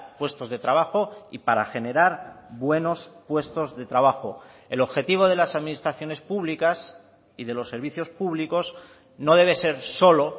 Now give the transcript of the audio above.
puestos de trabajo y para generar buenos puestos de trabajo el objetivo de las administraciones públicas y de los servicios públicos no debe ser solo